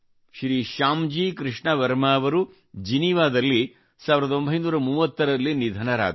ಶ್ರೀ ಶ್ಯಾಮ್ ಜೀ ಕೃಷ್ಣ ವರ್ಮಾ ಅವರು ಜಿನಿವಾದಲ್ಲಿ 1930 ರಲ್ಲಿ ನಿಧನರಾದರು